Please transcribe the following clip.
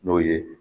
N'o ye